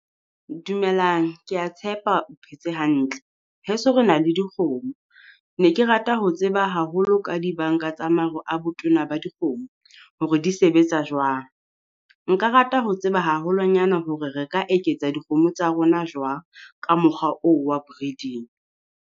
Dumelang, kea tshepa o phetse hantle. Heso re na le dikgomo ne Ke rata ho tseba haholo ka dibanka tsa maro a botona ba dikgomo hore di sebetsa jwang. Nka rata ho tseba haholwanyana hore re ka eketsa dikgomo tsa rona jwang ka mokgwa oo wa breeding.